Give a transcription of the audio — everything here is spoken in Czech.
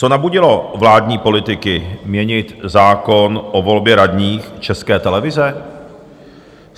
Co nabudilo vládní politiky měnit zákon o volbě radních České televize?